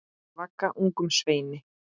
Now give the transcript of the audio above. Ég vagga ungum sveini.